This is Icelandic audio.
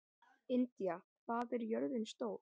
Indía, hvað er jörðin stór?